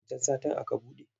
Wancan satin aka buɗe.